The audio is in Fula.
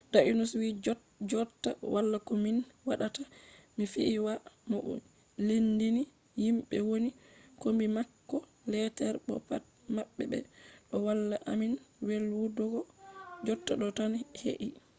danius wi jotta wala ko min waɗata mi fiyi waya bo mi lendini himɓe woni kombi mako leetere bo pat maɓɓe ɓe ɗo walla amin welwutuggo. jotta ɗo tan he’i